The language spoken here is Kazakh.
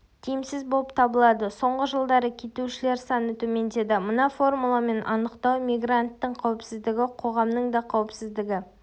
тиімсіз болып табылады соңғы жылдары кетушілер саны төмендеді мына формуламен анықтау мигранттың қауіпсіздігі-қоғамның да қауіпсіздігі